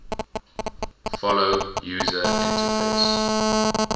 follow user interface